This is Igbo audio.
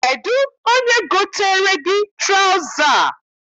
Kedụ onye goteere gị traụza a?